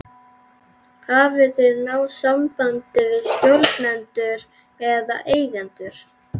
Hafið þið náð sambandi við stjórnendur eða eigendur?